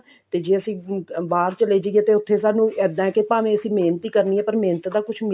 ਤੇ ਜੇ ਅਸੀਂ ਅਮ ਬਾਹਰ ਚਲੇ ਜਾਈਏ ਤੇ ਉੱਥੇ ਸਾਨੂੰ ਇੱਦਾਂ ਹੈ ਕਿ ਭਾਵੇਂ ਅਸੀਂ ਮਿਹਨਤ ਹੀ ਕਰਨੀ ਹੈ ਪਰ ਮਿਹਨਤ ਦਾ ਕੁਛ